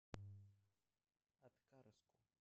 аткарску